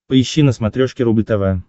поищи на смотрешке рубль тв